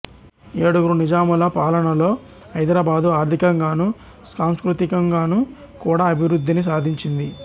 ఏడుగురు నిజాముల పాలనలో హైదరాబాదు ఆర్థికంగాను సాంస్కృతికంగాను కూడా అభివృద్ధిని సాధించింది